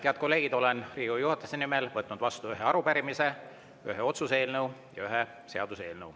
Head kolleegid, olen Riigikogu juhatuse nimel võtnud vastu ühe arupärimise, ühe otsuse eelnõu ja ühe seaduseelnõu.